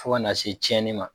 Fo kana se tiɲɛni ma.